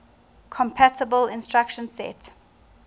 compatible instruction set